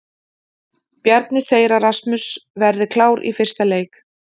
Bjarni segir að Rasmus verði klár í fyrsta leik.